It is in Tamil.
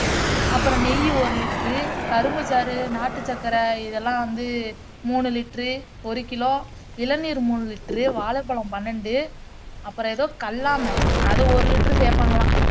அப்பறம் நெய் ஒரு litre, கரும்புச்சாறு, நாட்டுச்சக்கரை இதெல்லாம் வந்து மூணு liter ஒரு kilo இளநீர் மூணு liter வாழைப்பழம் பன்னிரெண்டு அப்பறம் எதோ கள்ளாமே அத ஒரு liter சேர்ப்பாங்கலாம்